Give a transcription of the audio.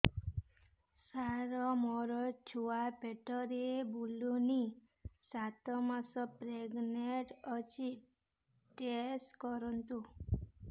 ସାର ମୋର ଛୁଆ ପେଟରେ ବୁଲୁନି ସାତ ମାସ ପ୍ରେଗନାଂଟ ଅଛି ଟେଷ୍ଟ କରନ୍ତୁ